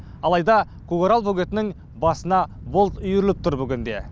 алайда көкарал бөгетінің басына бұлт үйіріліп тұр бүгінде